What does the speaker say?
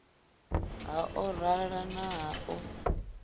ha orala na ha u